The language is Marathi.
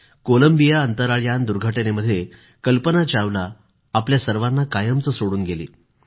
कोलंबिया अंतराळ यान दुर्घटनेमध्ये कल्पना चावला आपल्या सर्वांना कायमचं सोडून गेली